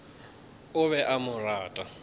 o be a mo rata